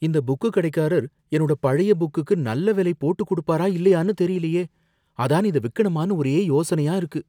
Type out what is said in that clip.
இந்த புக்கு கடைக்காரர் என்னோட பழைய புக்குக்கு நல்ல விலை போட்டுக் கொடுப்பாரா இல்லையானு தெரியலையே, அதான் இத விக்கணுமான்னு ஒரே யோசனையா இருக்கு.